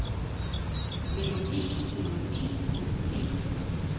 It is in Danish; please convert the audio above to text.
melodi melodi melodi